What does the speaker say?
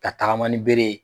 Ka tagama ni bere ye.